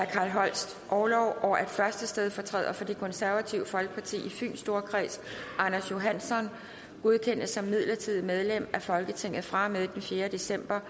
carl holsts orlov og at første stedfortræder for det konservative folkeparti i fyns storkreds anders johansson godkendes som midlertidigt medlem af folketinget fra og med den fjerde december